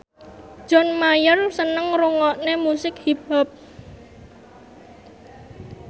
John Mayer seneng ngrungokne musik hip hop